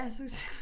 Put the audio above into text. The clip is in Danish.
Ja så